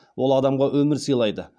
ол адамға өмір сыйлайды